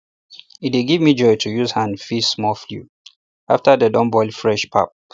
e dey give them joy to use hand feed small fowl after dem don boil fresh pap